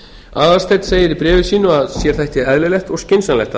aðalsteinn segir í bréfi sínu að sér þætti eðlilegt og skynsamlegt að